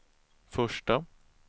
första